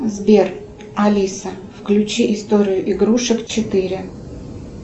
сбер алиса включи историю игрушек четыре